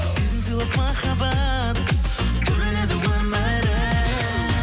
сезім сыйлап махаббат түрленеді өмірім